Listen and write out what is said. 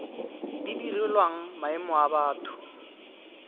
di direlwang maemo a batho